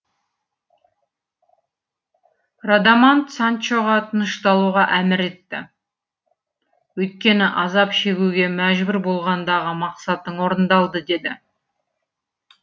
радамант санчоға тынышталуға әмір етті өйткені азап шегуге мәжбүр болғандағы мақсатың орындалды деді